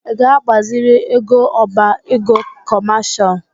Ị ga-agbaziri ego ọbá égo kọmashal?